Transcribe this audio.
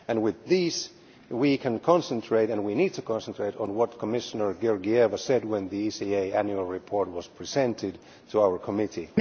With these we can concentrate and we need to concentrate on what Commissioner Georgieva said when the ECA annual report was presented to our committee